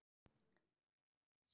Þá fannst honum það ekki gott.